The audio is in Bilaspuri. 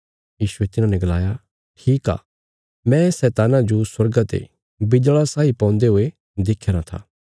यीशुये तिन्हांने गलाया ठीक आ मैं शैतान्ना जो स्वर्गा ते बिज्जल़ा साई पौंदे हुये देख्या रां था